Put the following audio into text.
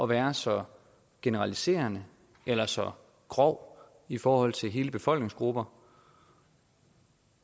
være så generaliserende eller så grov i forhold til hele befolkningsgrupper